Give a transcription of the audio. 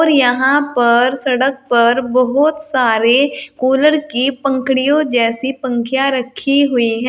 यहां पर सड़क पर बहुत सारे कूलर की पंखुड़ियों जैसी पंक्तियां रखी हुई है।